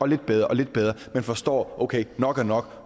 lidt bedre og lidt bedre man forstår at okay nok er nok